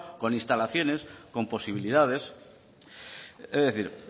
con instalaciones con posibilidades es decir